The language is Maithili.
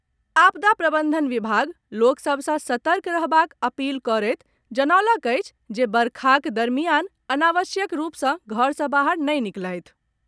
आपदा प्रबंधन विभाग लोक सभ सॅ सतर्क रहबाक अपील करैत जनौलक अछि जे वर्षाक दरमियान अनावश्यक रूप से घर से बाहर नहि निकलथि।